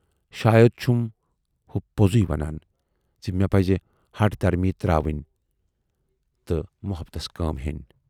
شاید چھُم ہُہ پوزٕے ونان زِ مے پزِ ہٹھ دھرمی تراوٕنۍ تہٕ مۅحبتس کٲم ہینۍ۔